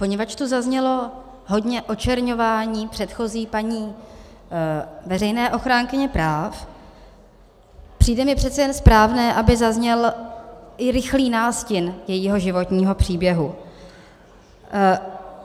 Poněvadž tu zaznělo hodně očerňování předchozí paní veřejné ochránkyně práv, přijde mi přece jen správné, aby zazněl i rychlý nástin jejího životního příběhu.